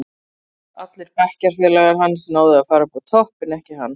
Allir bekkjafélagar hans náðu að fara upp á topp, en ekki hann.